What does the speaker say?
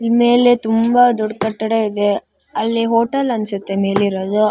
ಇನ್ಮೇಲೆ ತುಂಬಾ ದೊಡ್ಡ ಕಟ್ಟಡ ಇದೆ ಅಲ್ಲಿ ಹೋಟೆಲ್ ಅನ್ಸುತ್ತೆ -